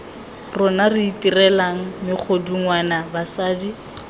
rona re itirelang megodungwana basadi